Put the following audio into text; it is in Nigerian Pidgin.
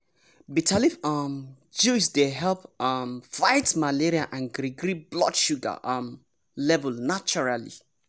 bitter leaf um juice dey help um fight malaria and gree gree blood sugar um level naturally.